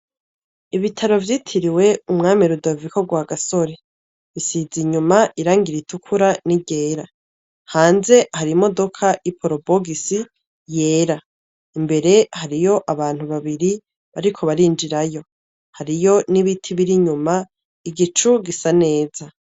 Ibitaro vyitiriwe umwami rudavaikorwa gasore isiza inyuma irangira itukura ni ryera hanze hari i modoka i porubogisi yera imbere hariyo abantu babiri bariko barinjirayo hariyo n'ibiti biri nyuma igicu gisa neza.